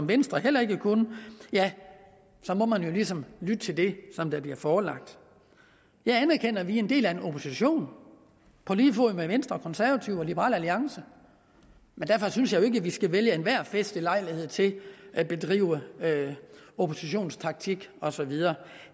venstre heller ikke kunne ja så må man jo ligesom lytte til det der bliver forelagt jeg anerkender at vi er en del af en opposition på lige fod med venstre og konservative og liberal alliance men derfor synes jeg jo ikke at vi skal vælge enhver festlig lejlighed til at bedrive oppositionstaktik og så videre